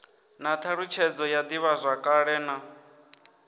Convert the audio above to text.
na thalutshedzo ya divhazwakale na